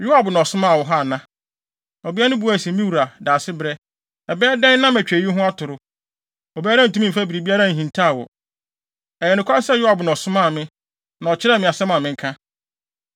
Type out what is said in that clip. “Yoab na ɔsomaa wo ha ana?” Ɔbea no buae se, “Me wura, Daasebrɛ, ɛbɛyɛ dɛn na matwa eyi ho atoro? Obiara ntumi mfa biribiara nhintaw wo. Ɛyɛ nokware sɛ Yoab na ɔsomaa me, na ɔkyerɛɛ me asɛm a menka.